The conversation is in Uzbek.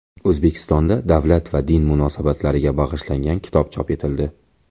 O‘zbekistonda davlat va din munosabatlariga bag‘ishlangan kitob chop etildi.